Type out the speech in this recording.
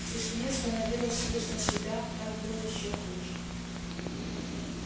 в тишине становилось слышно себя так было ещё хуже